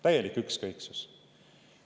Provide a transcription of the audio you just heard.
Täielikku ükskõiksust!